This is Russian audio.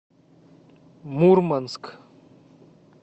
мурманск